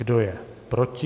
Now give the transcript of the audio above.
Kdo je proti?